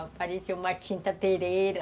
Apareceu uma tinta pereira.